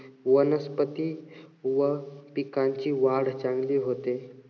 वनस्पती व पिकांची वाढ चांगली होते.